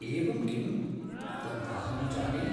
एवं किम्? तन्नाहं जाने!